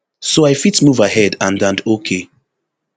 so i fit move ahead and and ok